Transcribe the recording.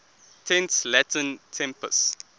tense latin tempus